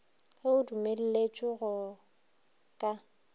ge o dumelletšwe go ka